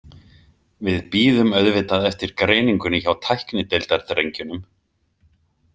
Við bíðum auðvitað eftir greiningunni hjá tæknideildardrengjunum.